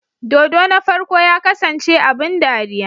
Dodo na farko ya kasance abin dariya?